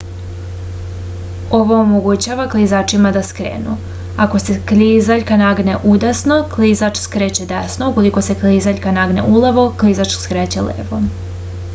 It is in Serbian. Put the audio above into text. ovo omogućava klizačima da skrenu ako se klizaljka nagne udesno klizač skreće desno ukoliko se klizaljka nagne ulevo klizač skreće levo